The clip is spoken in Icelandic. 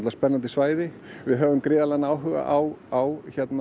spennandi svæði við höfum gríðarlegan áhuga á á